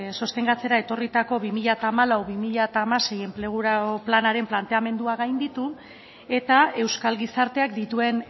sostengatzera etorritako bi mila hamalau bi mila hamasei enplegu planaren planteamendua gainditu eta euskal gizarteak dituen